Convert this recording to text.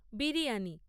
biryani